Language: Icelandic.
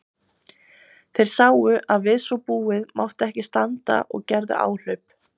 Þeir sáu að við svo búið mátti ekki standa og gerðu áhlaup.